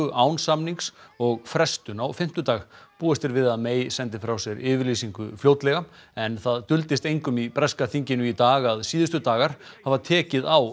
án samnings og frestun á fimmtudag búist er við að sendi frá sér yfirlýsingu fljótlega en það duldist engum í breska þinginu í dag að síðustu dagar hafa tekið á